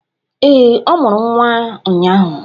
Ee, ọ mụrụ nwa ụnyaahụ